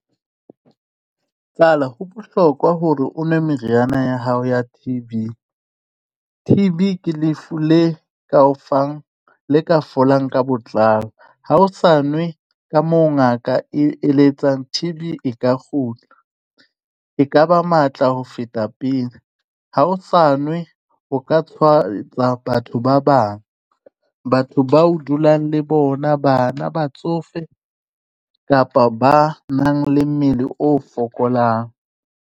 Tsala ho bohlokwa hore o nwe meriana ya hao ya T_B. T _B ke lefu le ka o fang le ka folang ka botlalo ha o sa nwe ka mo ngaka e eletsang. T_B e ka kgutla e ka ba matla ho feta pele, ha o sa nwe o ka tshwaetsa batho ba bang. Batho bao dulang le bona, bana batsofe kapa ba nang le mmele o fokolang.